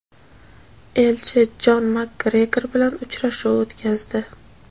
elchi Jon MakGregor bilan uchrashuv o‘tkazdi.